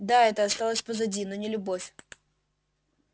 да это осталось позади но не любовь